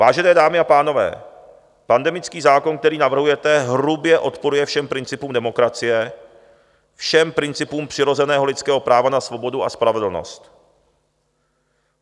Vážené dámy a pánové, pandemický zákon, který navrhujete, hrubě odporuje všem principům demokracie, všem principům přirozeného lidského práva na svobodu a spravedlnost.